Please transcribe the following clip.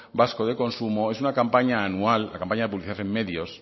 vasco de consumo es una campaña anual la campaña de publicación en medios